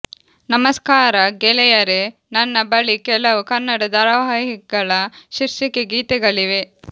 ನಮಸ್ಕಾರ ಗೆಳೆಯರೆ ನನ್ನ ಬಳಿ ಕೆಲವು ಕನ್ನಡ ಧಾರಾವಾಹಿಗಳ ಶೀರ್ಷಿಕೆ ಗೀತೆಗಳಿವೆ